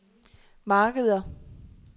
markeder